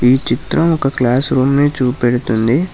ఈ చిత్రం ఒక క్లాస్ రూమ్ ని చూపెడుతుంది